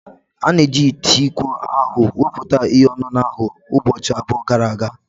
A na-eji ite iko ahụ wụputa ihe ọṅụṅụ ahụ ụbọchị abụọ gara aga.